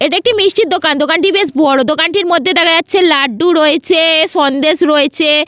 এটি একটি মিষ্টির দোকান দোকানটি বেশ বড় দোকান মধ্যে দেখা যাচ্ছে লাড্ডু রয়েছে-এ সন্দেশ রয়েছে।